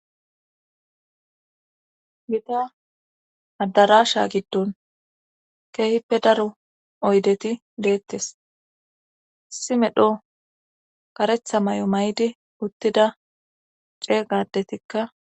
gita addarasha giddon keehippe daro oydeti deettes issi medho karetha may7o may7di uttida ceegadetikka